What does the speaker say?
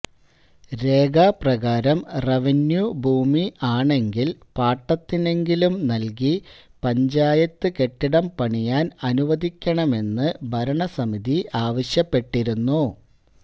രേഖ പ്രകാരം റവന്യൂ ഭൂമി ആണെങ്കിൽ പാട്ടത്തിനെങ്കിലും നൽകി പഞ്ചായത്ത് കെട്ടിടം പണിയാൻ അനുവദിക്കണമെന്ന് ഭരണസമിതി ആവശ്യപ്പെട്ടിരുന്നു